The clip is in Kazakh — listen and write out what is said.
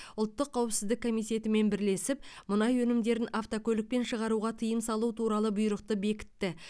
ұлттық қауіпсіздік комитетімен бірлесіп мұнай өнімдерін автокөлікпен шығаруға тыйым салу туралы бұйрықты бекітті